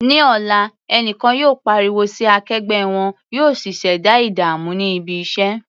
Ní ọ̀la, ẹnìkan yóò pariwo sí akẹgbẹ́ wọn, yóò sì ṣẹ̀dá ìdààmú ní ibi iṣẹ́.